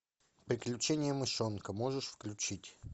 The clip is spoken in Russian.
приключения мышонка можешь включить